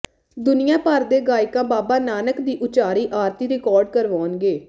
ਦੁਨੀਆ ਭਰ ਦੇ ਗਾਇਕ ਬਾਬਾ ਨਾਨਕ ਦੀ ਉਚਾਰੀ ਆਰਤੀ ਰਿਕਾਰਡ ਕਰਵਾਉਣਗੇ